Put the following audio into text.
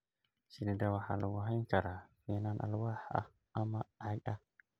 Shinnida waxa lagu hayn karaa finan alwaax ah ama caag ah.